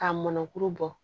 K'a mɔnkuru bɔ